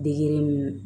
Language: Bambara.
Degere ninnu